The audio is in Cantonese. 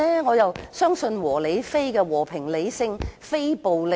我相信"和理非"，即和平、理性及非暴力。